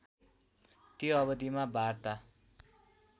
त्यो अवधिमा वार्ता